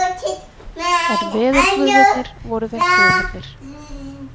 En veðurguðirnir voru þeim hliðhollir.